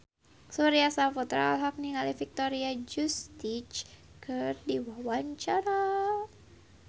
Surya Saputra olohok ningali Victoria Justice keur diwawancara